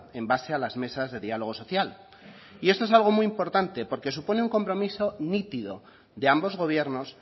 en base a las mesas de diálogo social y esto es algo muy importante porque supone un compromiso nítido de ambos gobiernos